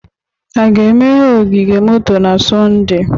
A ga-emeghe ogige moto na Sọnde?